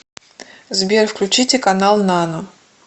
сбер включите канал нано